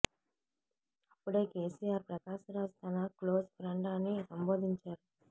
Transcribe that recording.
అప్పుడే కేసీఆర్ ప్రకాష్ రాజ్ తన close friend అని సంబోధించారు